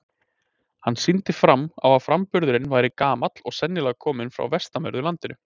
Hann sýndi fram á að framburðurinn væri gamall og sennilega kominn fram á vestanverðu landinu.